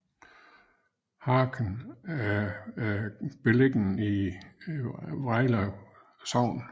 Harken er beliggende i Vrejlev Sogn